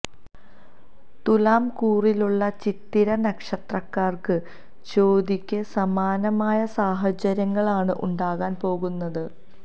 തുലാം കൂറിലുള്ള ചിത്തിര നക്ഷത്രക്കാര്ക്കും ചോതിക്ക് സമാനമായ സാഹചര്യങ്ങളാണ് ഉണ്ടാകാൻ പോകുന്നത്